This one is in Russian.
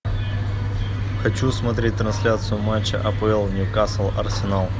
хочу смотреть трансляцию матча апл ньюкасл арсенал